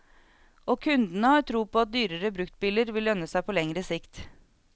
Og kundene har tro på at dyrere bruktbiler vil lønne seg på lengre sikt.